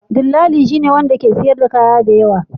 Dillali shine wanda ke siyar da kaya da yawa.